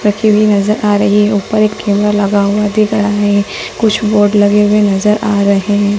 Factory भी नज़र आ रही है ऊपर एक कैमरा लगा हुआ दिख रहा है कुछ बोर्ड लगे हुए नज़र आ रहे हैं।